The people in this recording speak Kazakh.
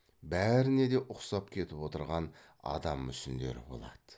бәріне де ұқсап кетіп отырған адам мүсіндері болады